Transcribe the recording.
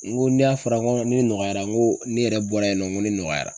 N ko n'a fɔra ko ne nɔgɔyara, n ko ne yɛrɛ bɔra yen nɔ ko ne nɔgɔyara